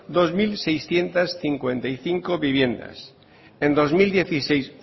dos mil seiscientos cincuenta y cinco viviendas